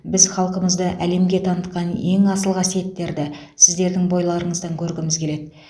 біз халқымызды әлемге танытқан ең асыл қасиеттерді сіздердің бойларыңыздан көргіміз келеді